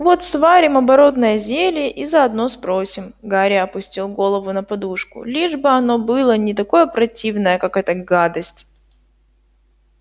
вот сварим оборотное зелье и заодно спросим гарри опустил голову на подушку лишь бы оно было не такое противное как эта гадость